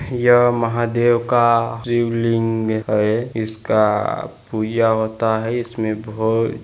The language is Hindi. यह महादेव का शिवलिंग है इसका पूजा होता है इसमे बहोत--